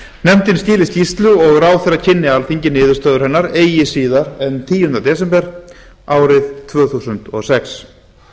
nefndin skili skýrslu og ráðherra kynni alþingi niðurstöður hennar eigi síðar en tíunda desember tvö þúsund og sex